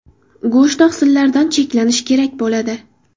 Go‘sht oqsillaridan cheklanish kerak bo‘ladi.